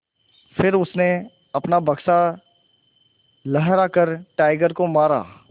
फिर उसने अपना बक्सा लहरा कर टाइगर को मारा